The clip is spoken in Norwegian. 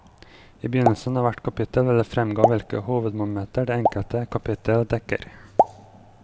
I begynnelsen av hvert kapittel vil det framgå hvilke hovedmomenter det enkelte kapittel dekker.